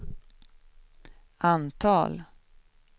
antal